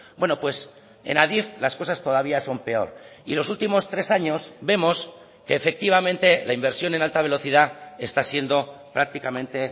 bueno pues en adif las cosas todavía son peor y los últimos tres años vemos que efectivamente la inversión en alta velocidad está siendo prácticamente